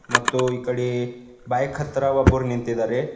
ಮತ್ತು ಈ ಕಡೆ ಬೈಕ್ ಹತ್ರ ಒಬ್ಬರು ನಿಂತಿದಾರೆ.